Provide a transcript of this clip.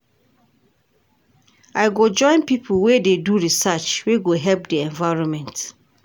I go join pipo wey dey do research wey go help di environment.